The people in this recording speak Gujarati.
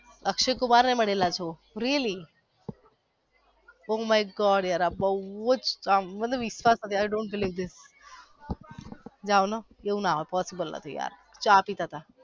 અક્ષય કુમાર ને મળેલા છો really? Oh my god યાર આ બોવ જ મતલબ i don't believe this wow એવું ના હોઈ ના યાર possible નથી ચા પિતાતા